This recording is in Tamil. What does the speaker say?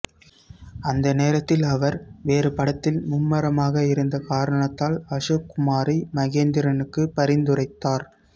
அந்த நேரத்தில் அவர் வேறு படத்தில் மும்மரமாக இருந்த காரணத்தால் அசோக் குமாரை மகேந்திரனுக்கு பரிந்துரைத்தார்